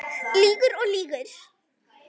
Lýgur og lýgur.